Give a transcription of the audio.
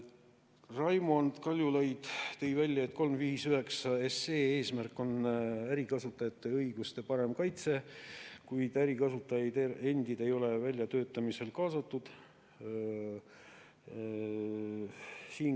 Raimond Kaljulaid tõi välja, et eelnõu 359 eesmärk on ärikasutajate õiguste parem kaitse, kuid ärikasutajaid endid ei ole väljatöötamisel kaasatud.